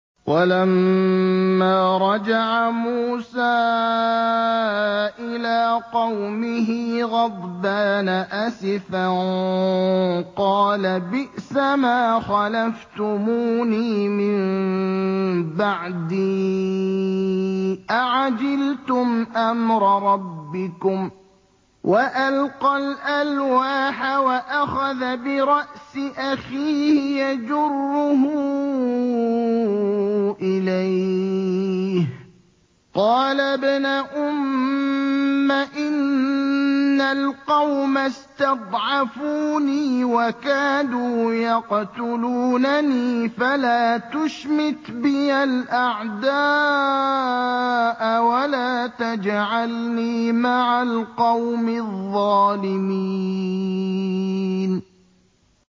وَلَمَّا رَجَعَ مُوسَىٰ إِلَىٰ قَوْمِهِ غَضْبَانَ أَسِفًا قَالَ بِئْسَمَا خَلَفْتُمُونِي مِن بَعْدِي ۖ أَعَجِلْتُمْ أَمْرَ رَبِّكُمْ ۖ وَأَلْقَى الْأَلْوَاحَ وَأَخَذَ بِرَأْسِ أَخِيهِ يَجُرُّهُ إِلَيْهِ ۚ قَالَ ابْنَ أُمَّ إِنَّ الْقَوْمَ اسْتَضْعَفُونِي وَكَادُوا يَقْتُلُونَنِي فَلَا تُشْمِتْ بِيَ الْأَعْدَاءَ وَلَا تَجْعَلْنِي مَعَ الْقَوْمِ الظَّالِمِينَ